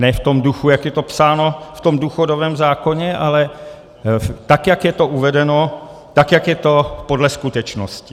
Ne v tom duchu, jak je to psáno v tom důchodovém zákoně, ale tak jak je to uvedeno, tak jak je to podle skutečnosti.